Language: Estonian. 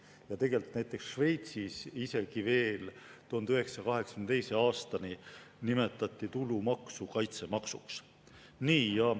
Ja näiteks Šveitsis isegi veel 1982. aastani nimetati tulumaksu kaitsemaksuks.